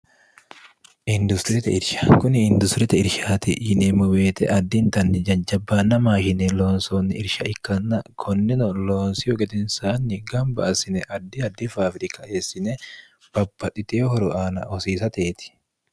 industirite irsha kuni indusirete irshaati yineemmo weete addindanni janjabbaanna maahine loonsoonni irsha ikkanna konnino loonsiyo gedensaanni gamba asine addi addifaafirika eessine babaditee horoaana hosiisateeti